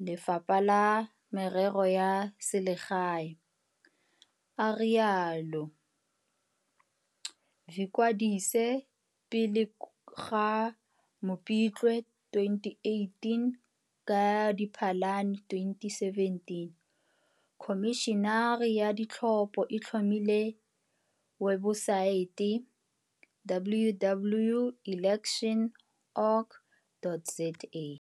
le Lefapha la Merero ya Selegae a rialo.vikwadise pele ga Mopitlwe 2018 Ka Diphalane 2017 Khomišene ya Ditlhopo e tlhomile webosaete, www.elections.org.za.